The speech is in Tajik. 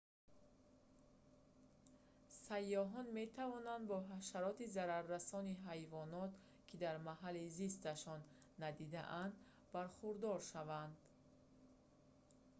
сайёҳон метавонанд бо ҳашароти зараррасони ҳайвонот ки дар маҳалли зисташон надидаанд бархӯрдор шаванд